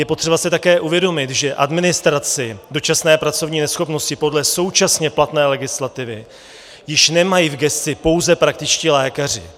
Je potřeba si také uvědomit, že administraci dočasné pracovní neschopnosti podle současně platné legislativy již nemají v gesci pouze praktičtí lékaři.